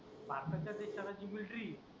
भारताच्या देशाला जी मिल्ट्री